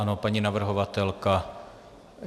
Ano, paní navrhovatelka.